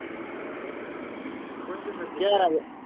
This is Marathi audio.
कोणते sir शिकवितात?